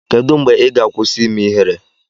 kedu mgbe ị ga-akwụsị ime ihere?